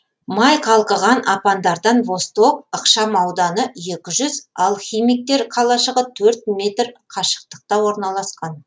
май қалқыған апандардан восток ықшам ауданы екі жүз ал химиктер қалашығы төрт метр қашықтықта орналасқан